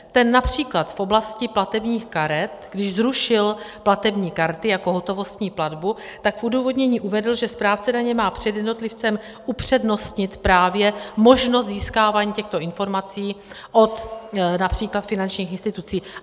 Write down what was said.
Ten například v oblasti platebních karet, když zrušil platební karty jako hotovostní platbu, tak v odůvodnění uvedl, že správce daně má před jednotlivcem upřednostnit právě možnost získávání těchto informací od například finančních institucí.